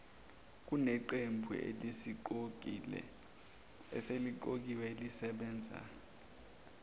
kuneqembu eseliqokiwe elisebenza